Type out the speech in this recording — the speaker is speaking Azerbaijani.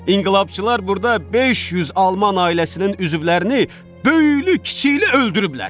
İnqilabçılar burda 500 alman ailəsinin üzvlərini böyüklü-kiçikli öldürüblər.